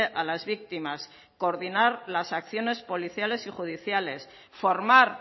a las víctimas coordinar las acciones policiales y judiciales formar